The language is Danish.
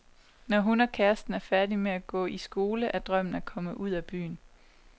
Når hun og kæresten er færdig med at gå i skole, er drømmen at komme ud af byen.